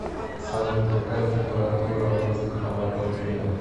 салют какая температура воздуха в воркуте